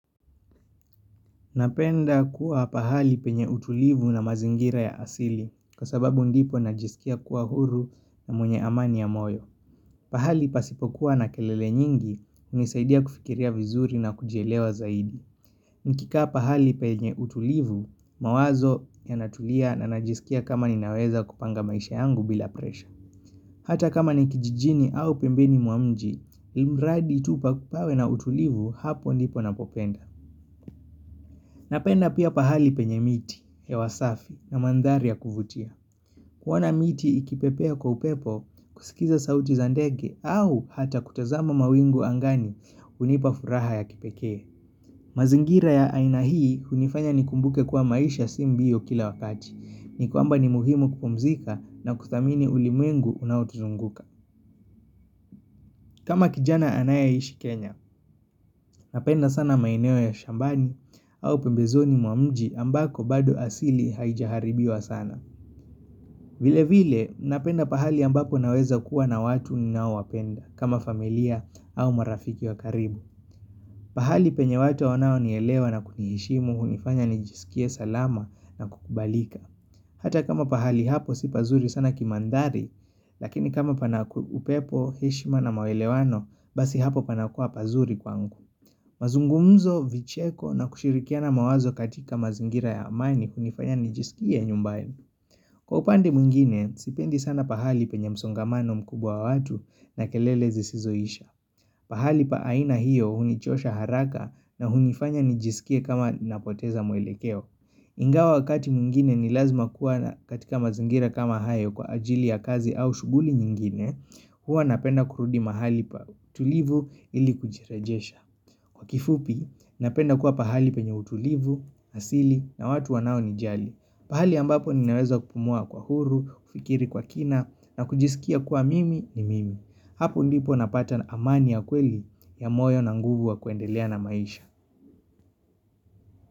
Napenda kuwa pahali penye utulivu na mazingira ya asili kwa sababu ndipo najisikia kuwa huru na mwenye amani ya moyo. Pahali pasipokuwa na kelele nyingi unisaidia kufikiria vizuri na kujelewa zaidi. Nkika pahali penye utulivu, mawazo ya natulia na najisikia kama ninaweza kupanga maisha yangu bila presha. Hata kama nikijijini au pembeni mwa mji, ilimradi itupa kupawe na utulivu hapo ndipo na popenda. Napenda pia pahali penye miti, hewasafi na mandhari ya kuvutia. Kuwana miti ikipepea kwa upepo kusikiza sauti za ndege au hata kutazama mawingu angani unipafuraha ya kipekee. Mazingira ya aina hii unifanya nikumbuke kwa maisha si mbio kila wakati. Nikwamba ni muhimu kupumzika na kudhamini ulimwengu unaotuzunguka. Kama kijana anaya ishi Kenya, napenda sana maeneo ya shambani au pembezoni mwa mji ambako bado asili haijaharibiwa sana. Vile vile, napenda pahali ambako naweza kuwa na watu ni nao wapenda, kama familia au marafiki wa karibu. Pahali penye watu wanao nielewa na kunihishimu, humifanya nijisikie salama na kukubalika. Hata kama pahali hapo si pazuri sana kimandari, lakini kama panakupepo, heshima na mawelewano, basi hapo panakua pazuri kwangu. Mazungumzo, vicheko na kushirikiana mawazo katika mazingira ya amani kunifanya nijisikie nyumbaini. Kwa upande mwingine, sipendi sana pahali penye msongamano mkubwa watu na kelele zisizoisha. Pahali pa aina hiyo hunichosha haraka na hunifanya nijisikie kama napoteza mwelekeo. Ingawa wakati mwngine ni lazima kuwa katika mazingira kama hayo kwa ajili ya kazi au shughuli nyingine Hua napenda kurudi mahali pa utulivu ili kujirajesha Kwa kifupi napenda kuwa pahali penye utulivu, asili na watu wanao nijali pahali ambapo ninaweza kupumua kwa huru, kufikiri kwa kina na kujisikia kwa mimi ni mimi Hapo ndipo napata amani ya kweli ya moyo na nguvu wa kuendelea na maisha.